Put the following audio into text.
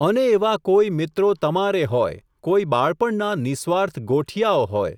અને એવા કોઈ મિત્રો તમારે હોય, કોઈ બાળપણના નિઃસ્વાર્થ ગોઠિયાઓ હોય.